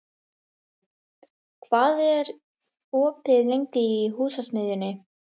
Patti, hvað er opið lengi í Húsasmiðjunni?